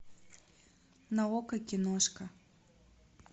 на окко киношка